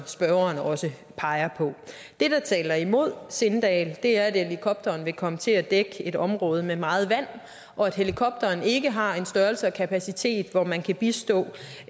spørgeren også peger på det der taler imod sindal er at helikopteren vil komme til at dække et område med meget vand at helikopteren ikke har en størrelse og kapacitet så man kan bistå